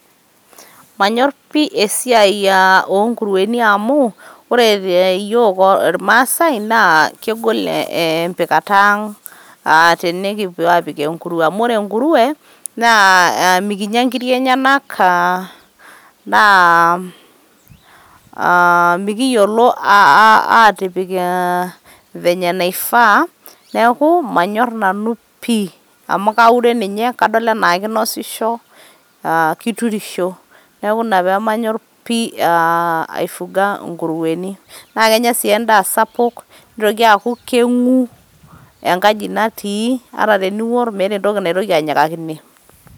Manyorr pii esiai oo nkurueni pii amu ore te yiok ilmaasai naa kegol e mpikata aa tenikupuo aapik enkurue. Amu ore enkuruwe naa mikinyia nkirik enyena aa naa mikiyiolo aatipik venye enaifaa niaku manyorr nanu pii amu kaure ninye kadol enaa kinosisho kitureisho. Niaku ina pee manyorr pii ai fuga ngurueni. Naa kenya sii en`daa sapuk, nitoki aaku keng`u enkaji natii , ata teniworr meeta entoki naitoki anyikaki ine.